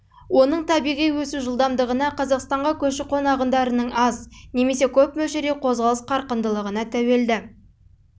оның табиғи өсу жылдамдығына қазақстанға көші-қон ағындарының аз немесе көп мөлшерде қозғалыс қарқындылығына сондай-ақ ассимиляциялық